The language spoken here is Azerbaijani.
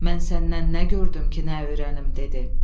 Mən səndən nə gördüm ki, nə öyrənim dedi.